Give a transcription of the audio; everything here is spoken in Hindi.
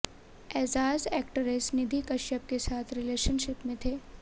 एजाज एक्ट्रेस निधि कश्यप के साथ रिलेशनशिप में थे